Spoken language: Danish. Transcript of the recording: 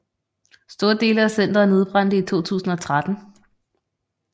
Store dele af centeret nedbrændte i 2013